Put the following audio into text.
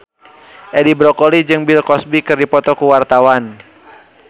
Edi Brokoli jeung Bill Cosby keur dipoto ku wartawan